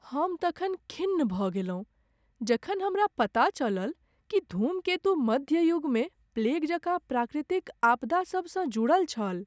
हम तखन खिन्न भऽ गेलहुँ जखन हमरा पता चलल कि धूमकेतु मध्य युगमे प्लेग जकाँ प्राकृतिक आपदासभसँ जुड़ल छल।